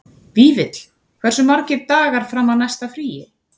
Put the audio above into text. Vífill, hversu margir dagar fram að næsta fríi?